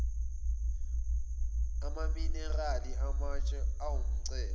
amaminerali amatshe awumcebo